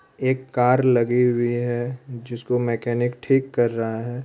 '' एक कार लगी हुई है जिसको मैकेनिक ठीक कर रहा है। ''